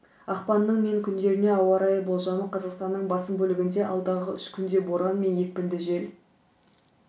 ақпанның мен күндеріне ауа райы болжамы қазақстанның басым бөлігінде алдағы үш күнде боран мен екпінді жел